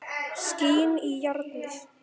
Skín í járnið.